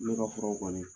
Ne ka furaw kɔni